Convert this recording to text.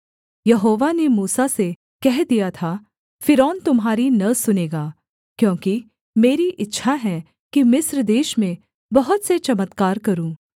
यहोवा ने मूसा से कह दिया था फ़िरौन तुम्हारी न सुनेगा क्योंकि मेरी इच्छा है कि मिस्र देश में बहुत से चमत्कार करूँ